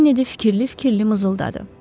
Kennedi fikirli-fikirli mızıldadı.